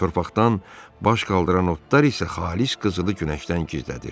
Torpaqdan baş qaldıran otlar isə xalis qızılı günəşdən gizlədir.